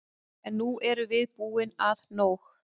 En nú erum við búin að nóg!